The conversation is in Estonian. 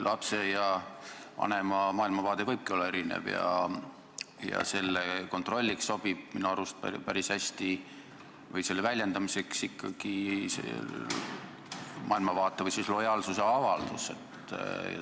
Lapse ja vanema maailmavaade võibki olla erinev ja selle kontrolliks või väljendamiseks sobib minu arust päris hästi ikkagi maailmavaate või lojaalsuse avaldus.